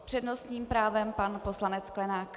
S přednostním právem pan poslanec Sklenák.